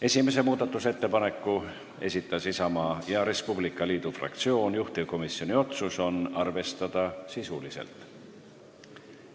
Esimese muudatusettepaneku esitas Isamaa ja Res Publica Liidu fraktsioon, juhtivkomisjoni otsus: arvestada sisuliselt.